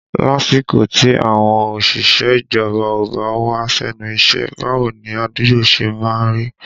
Lásìkò tí àwọn òṣìṣẹ́ ìjọba ò bá wá sẹ́nu iṣẹ́, báwo ni àdúgbò ṣe má ń rí?